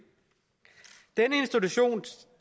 denne institution